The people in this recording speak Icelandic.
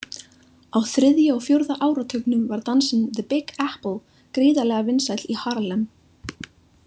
Á þriðja og fjórða áratugnum var dansinn „The Big Apple“ gríðarvinsæll í Harlem.